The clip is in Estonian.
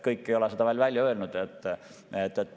Kõik ei ole seda veel välja öelnud.